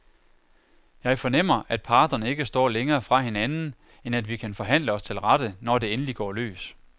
Jeg fornemmer, at parterne ikke står længere fra hinanden, end at vi kan forhandle os til rette, når det endelig går løs.